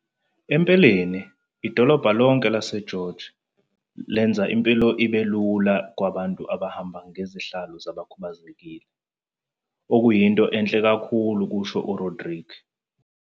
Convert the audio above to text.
"Empeleni, idolobha lonke laseGeorge lwenza impilo ibe lula kubantu abahamba ngezihlalo zabakhubazekile, okuyinto enhle kakhulu," kusho uRodrique.